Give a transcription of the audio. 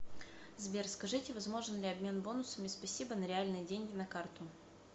сбер скажите возможен ли обмен бонусами спасибо на реальные деньги на карту